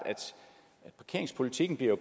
at parkeringspolitikken jo